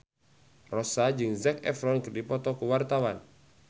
Rossa jeung Zac Efron keur dipoto ku wartawan